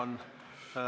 Meil on ...